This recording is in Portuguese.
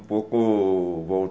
um pouco